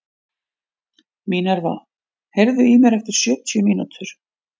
Minerva, heyrðu í mér eftir sjötíu mínútur.